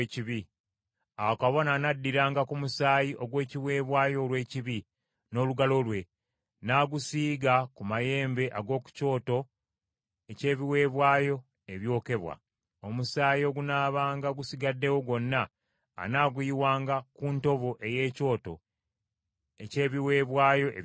Awo kabona anaddiranga ku musaayi ogw’ekiweebwayo olw’ekibi, n’olugalo lwe, n’agusiiga ku mayembe ag’oku kyoto eky’ebiweebwayo ebyokebwa. Omusaayi ogunaabanga gusigaddewo gwonna anaaguyiwanga ku ntobo ey’ekyoto eky’ebiweebwayo ebyokebwa.